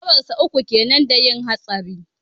Shekarar sa uku kenan da yin hatsarin.